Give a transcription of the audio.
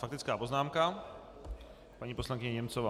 Faktická poznámka paní poslankyně Němcová.